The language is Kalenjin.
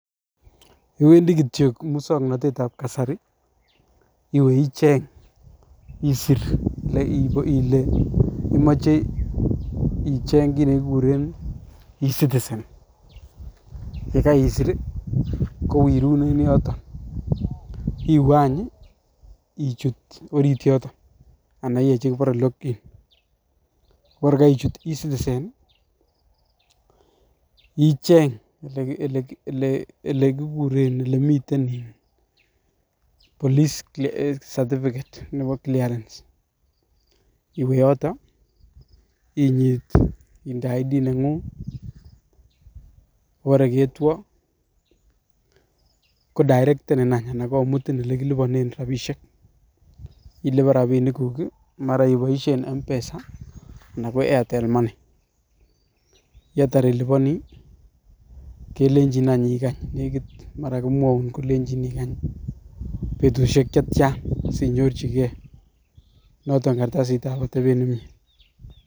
Iwendi kityo kimusaknatetab kasari, iwe icheng' isir um ile imachei icheng' kiiy ne kikuren e-citizen. Ye kaisir, kowirun en yotok. Iwe anyun, ichut orit yotok, anan iae chekibare log in. Bora kaichut e-citizen, icheng' ele kikuren, ele miten iin police certificate nebo clearance . Iwe yotok, inyit inde ID neng'ung'. Kobare ketwoo. Kodirektenin anyun, anan komutin ole kilipanen rabishiek. Ilipan rabinik guuk, mara iboishien M-pesa anan ko Airtel Money. Yeitar ilipani, kelenjin anyun ikany, nekit mara komwoun kolenjin ikany betushiek chetia sinyorchikei notok kartasitab atebet nemyee.